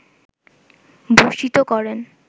ভূষিত করেন